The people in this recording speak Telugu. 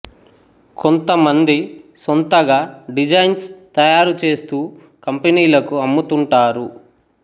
కొంత మంది సొంతగా డిజైన్స్ తయారు చేస్తూ కంపనీలకు అమ్ముతుంటారు